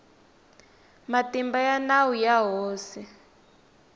matimba ya nawu ya hosi